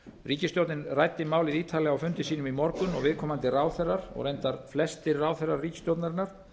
ríkisstjórnin ræddi málið ítarlega á fundi sínum í morgun og viðkomandi ráðherrar og reyndar flestir ráðherrar ríkisstjórnarinnar